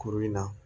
Kuru in na